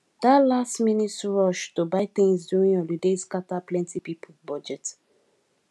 that lastminute rush to buy things during holiday scatter plenty people budget